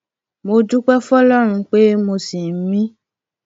mo dúpẹ fọlọrun pé mo ṣì ń mí